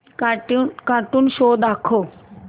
cartoon show दाखव